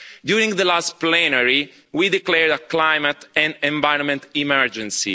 During the last plenary we declared a climate and environment emergency.